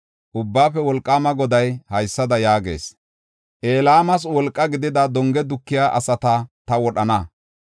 Ubbaafe Wolqaama Goday haysada yaagees; “Elaamas wolqa gidida donge dukiya asata ta wodhana.